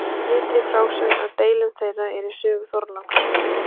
Litrík frásögn af deilum þeirra er í sögu Þorláks.